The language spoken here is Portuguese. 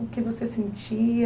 O que você sentia?